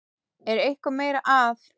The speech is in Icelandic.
Er eitthvað meira að?